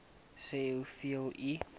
sê hoeveel u